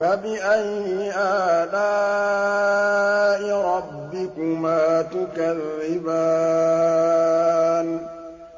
فَبِأَيِّ آلَاءِ رَبِّكُمَا تُكَذِّبَانِ